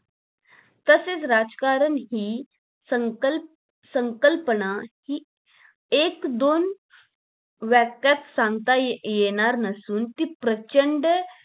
तसेच राजकारण हि संकल्प संकल्पना हि एक दोन वाक्यात सांगता येणार नसून ती प्रचंड